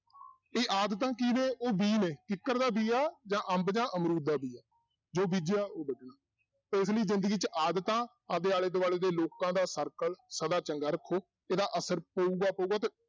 ਇਹ ਆਦਤਾਂ ਕੀ ਨੇ ਉਹ ਬੀਅ ਨੇ ਕਿੱਕਰ ਦਾ ਬੀਅ ਆ ਜਾਂ ਅੰਬ ਜਾਂ ਅਮਰੂਦ ਦਾ ਬੀਅ ਆ, ਜੋ ਬੀਜਿਆ ਉਹ ਵੱਢਣਾ, ਇਸ ਲਈ ਜ਼ਿੰਦਗੀ 'ਚ ਆਦਤਾਂ ਆਪਦੇ ਆਲੇ ਦੁਆਲੇ ਦੇ ਲੋਕਾਂ ਦਾ circle ਸਦਾ ਚੰਗਾ ਰੱਖੋ, ਇਹਦਾ ਅਸਰ ਪਊਗਾ ਪਊਗਾ ਤੇ